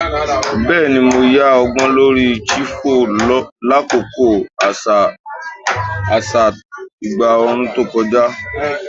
Bẹẹni, Mo yan ọgbọ lori chiffon lakoko aṣa aṣa igba ooru to kọja